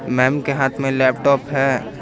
Ma'am के हाथ में लैपटॉप है।